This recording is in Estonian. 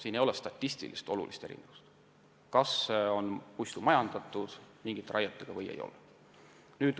Ei esine statistiliselt olulist erinevust puistute vahel, mida on majandatud raietega ja mida ei ole.